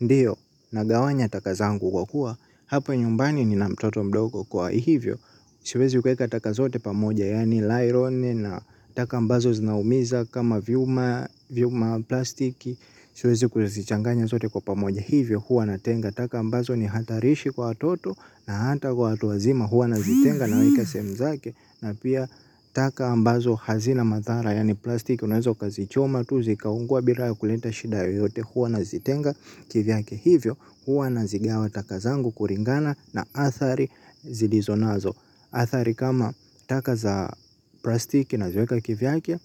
Ndiyo, nagawanya taka zangu kwa kuwa, hapa nyumbani nina mtoto mdogo kwa hivyo, siwezi kueka taka zote pamoja, yani layiloni na taka ambazo zinaumiza kama vyuma, vyuma plastiki, siwezi kuzichanganya zote kwa pamoja, hivyo hua natenga taka ambazo ni hatarishi kwa watoto. Na hata kwa watu wazima hua nazitenga naweka sehemu zake, na pia taka ambazo hazina mathara, yani plastiki, unaweza ukazichoma tu zikaungua bila ya kuleta shida yoteyote hua nazitenga, kivyake hivyo huwa nazigawa taka zangu kuringana na athari zilizo nazo. Athari kama taka za plastiki naziweka kivyake.